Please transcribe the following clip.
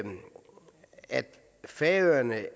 færøerne